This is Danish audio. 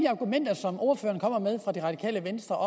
argumenter som ordføreren for det radikale venstre